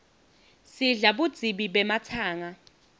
sidla budzibi bematsanga